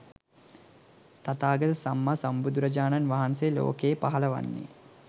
තථාගත සම්මා සම්බුදුරජාණන් වහන්සේ ලෝකයේ පහළ වන්නේ